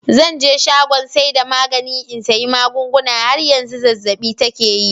“Zan je shagon saida magani in sayi magunguna. har yanzu zazzab'i take yi.